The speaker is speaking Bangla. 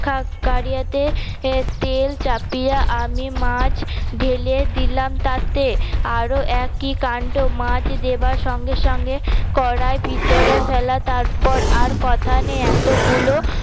কাড়িয়াতে তেল চাপিয়া আমি মাছ ঢেলে দিলাম ততে আরও এ কি কাণ্ড মাছ দেওয়ার সঙ্গে সঙ্গে কড়াই ভিতরে ফেলা তারপর আর কথা নেই এতগুলো